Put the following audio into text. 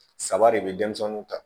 Saba de bɛ denmisɛnninw kan